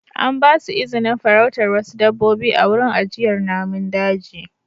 An ba su izinin farautar wasu dabbobi a wurin ajiyar namun daji.